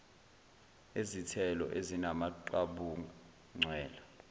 ezithelo ezinamaqabunga ncwela